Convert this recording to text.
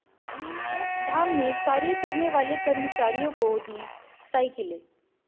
मोक्षधाम में कार्य करने वाले कर्मचारियों को दीं साइकिलें